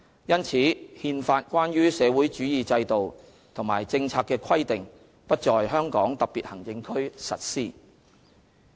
因此，《憲法》關於社會主義制度和政策的規定不在香港特別行政區實施。